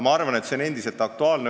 Ma arvan, et see teema on endiselt aktuaalne.